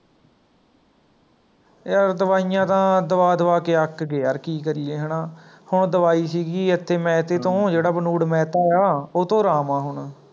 ਯਾਰ ਦਵਾਈਆਂ ਤਾਂ ਦਵਾ ਦਵਾ ਕੇ ਅੱਕ ਗਏ ਯਾਰ ਕੀ ਕਰੀਏ ਹੈ ਨਾ, ਹੁਣ ਦਵਾਈ ਸੀਗੀ ਇੱਥੇ ਮਹੇਤੇ ਤੋਂ ਜੇਹੜਾ ਬਨੂੜ ਮੈਹੈਤਾ ਆਂ ਓਤੋਂ ਆਰਾਮ ਆ ਹੁਣ